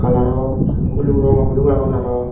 arow rogo guluk aagon arow.